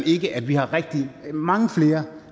ikke at vi har mange flere